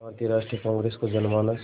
भारतीय राष्ट्रीय कांग्रेस को जनमानस